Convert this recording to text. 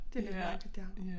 Det rigtigt det her